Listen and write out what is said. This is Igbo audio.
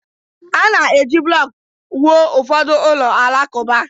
A na-eji blọk wụọ ụfọdụ ụlọ alakụba.